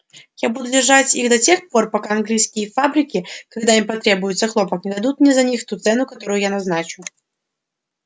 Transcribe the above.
я буду держать их до тех пор пока английские фабрики когда им потребуется хлопок не дадут мне за них ту цену которую я назначу